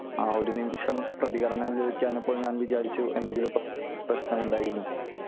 ആ ഒരു നിമിഷം പ്രതികരണം ലഭിക്കാഞ്ഞപ്പോൾ ഞാൻ വിചാരിച്ചു പ്രശ്നമുണ്ടായി എന്ന്